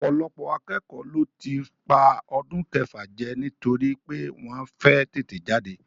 Ọ̀pọ̀lọpọ̀ akẹ́kọ̀ọ́ ló tí ń pa ọdún kẹfà jẹ nítorí pé wọ́n fẹ́ tètè jáde